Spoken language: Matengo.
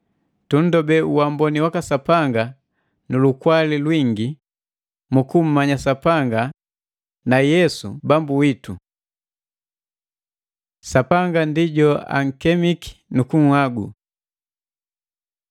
Tundobe uamboni waka Sapanga nu lukwali lwingi mu kummanya Sapanga na Yesu Bambu witu. Sapanga ndi jo ankemiki nukunhagu